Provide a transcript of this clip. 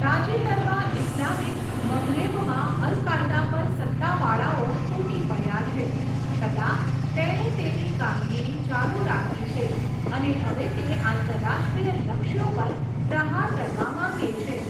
તાજેતરમાં ઇસ્લામિક મઘરેબમાં al Qaeda પર સત્તાવાળાઓ તૂટી પડ્યાં છે, છતાં, તેણે તેની કામગીરી ચાલુ રાખી છે અને હવે તે આંતરરાષ્ટ્રીય લક્ષ્યો પર પ્રહાર કરવા માંગે છે.